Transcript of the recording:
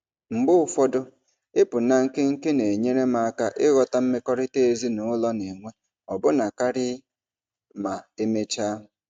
Mgbe ụfọdụ, ịpụ na nkenke na-enyere m aka ịghọta mmekọrịta ezinụlọ na-enwe ọbụna karị ma emechaa.